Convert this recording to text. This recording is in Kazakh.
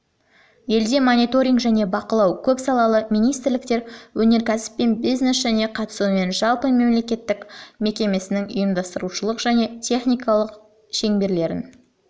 елде мониторинг және бақылау көп салалы министрліктер өнеркәсіп пен бизнес және қатысуымен жалпымемлекеттік мекемесінің ұйымдастырушылық және техникалық шеңберлерін